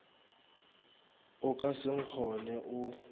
o ka se nkgone o